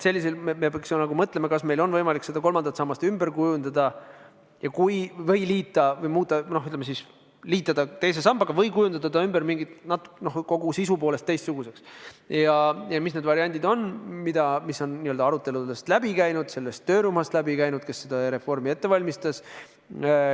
Me peaks mõtlema, kas meil on võimalik kolmandat sammast ümber kujundada: liita teise sambaga või kujundada see kogu sisu poolest teistsuguseks ja mis need variandid kõik on, mis on aruteludest läbi käinud ka selles töörühmas, kes seda reformi ette valmistas.